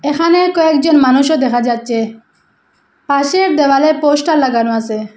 এখানে কয়েকজন মানুষও দেখা যাচ্ছে পাশের দেওয়ালে পোস্টার লাগানো আসে।